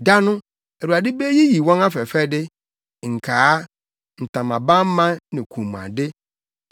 Da no Awurade beyiyi wɔn afɛfɛde: nkaa, ntamabamma ne kɔnmuade,